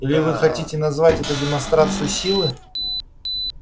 или вы хотите назвать это демонстрацию силы